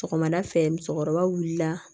Sɔgɔmada fɛ musokɔrɔba wulila